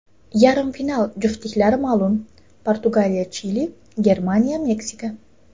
Yarim final juftliklari ma’lum: PortugaliyaChili, GermaniyaMeksika.